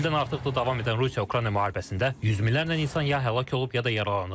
Üç ildən artıqdır davam edən Rusiya-Ukrayna müharibəsində yüz minlərlə insan ya həlak olub, ya da yaralanıb.